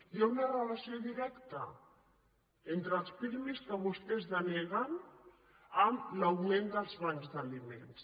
hi ha una relació directa entre els pirmi que vostès deneguen i l’augment dels bancs d’aliments